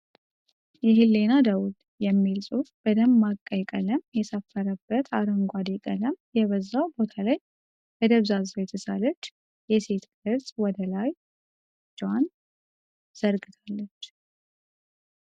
"የህሊና ደወል" የሚል ጽሁፍ በደማቅ ቀይ ቀለም የሰፈረበት አረንጓዴ ቀለም የበዛው ቦታ ላይ በደብዛዛው የተሳለች የሴት ቅርጽ ወደ ላይ እጇን ዘርግታለች።